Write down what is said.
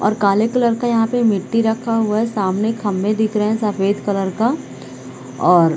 और काले कलर का यहाँ पे मिटटी रखा हुआ है। सामने खम्भे दिख रहे है सफ़ेद कलर का और--